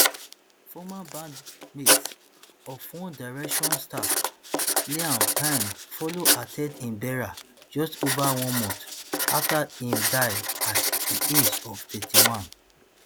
former bandmates of one direction star liam payne follow at ten d im burial just ova one month afta im die at di age of thirty-one